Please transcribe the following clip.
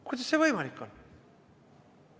Kuidas see võimalik on?